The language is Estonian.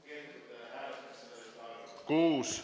Kehtetute hääletamissedelite arv: 6.